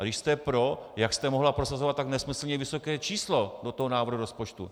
A když jste pro, jak jste mohla prosazovat tak nesmyslně vysoké číslo do toho návrhu rozpočtu?